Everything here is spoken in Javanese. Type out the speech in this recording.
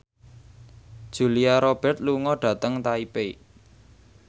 Julia Robert lunga dhateng Taipei